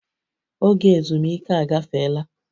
Oge ezumike agafeela